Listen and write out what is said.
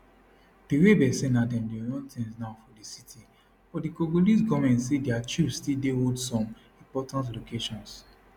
di rebels say na dem dey run tins now for di city but di congolese goment say dia troops still dey hold some important locations